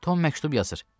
Tom məktub yazır.